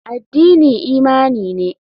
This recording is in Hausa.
Addini imani ne.